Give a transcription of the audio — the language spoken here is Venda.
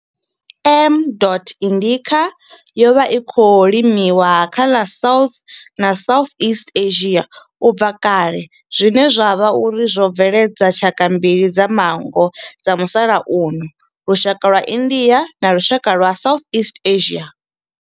M. indica yo vha i tshi khou limiwa kha ḽa South na Southeast Asia ubva kale zwine zwa vha uri zwo bveledza tshaka mbili dza manngo dza musalauno lushaka lwa India na lushaka lwa Southeast Asia.